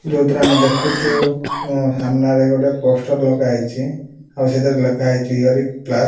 ଯୋଉଥିରେ ଆମେ ଦେଖୁଚୁ ଉନ ସାମ୍ନାରେ ଗୋଟେ ପୋଷ୍ଟର ଲଗାହେଇଚି। ଆଉ ସେଥିରେ ଲେଖାହେଇଚି ୟୁ ଆର୍ କ୍ଲାସ ।